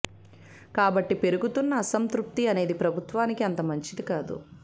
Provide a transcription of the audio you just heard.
కాబట్టి పెరుగుతున్న అసంతృప్తి అనేది ప్రభుత్వానికి అంత మంచిది కాదు